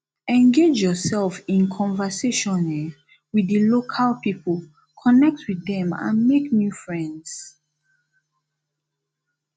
engage yourself in conversation um with di local people connect with dem and make new friends